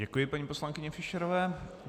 Děkuji paní poslankyni Fischerové.